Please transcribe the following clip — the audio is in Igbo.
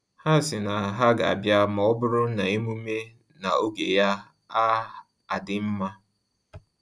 Ha si na ha ga abia ma ọ bụrụ na emume na-oge ya a adị mma